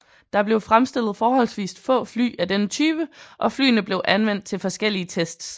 Der blev fremstillet forholdsvist få fly af denne type og flyene blev anvendt til forskellige tests